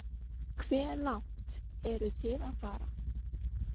Hve langt eruð þið að fara?